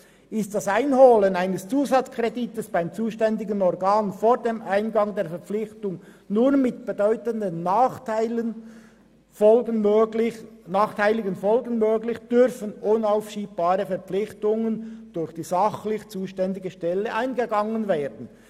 «Ist das Einholen eines Zusatzkredits beim zuständigen Organ vor dem Eingehen der Verpflichtung nur mit bedeutenden nachteiligen Folgen möglich, dürfen unaufschiebbare Verpflichtungen durch die sachlich zuständige Stelle eingegangen werden.